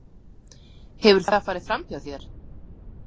Hefur það farið framhjá þér?